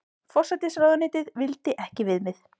Forsætisráðuneytið vildi ekki viðmið